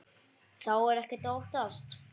Þá er ekkert að óttast.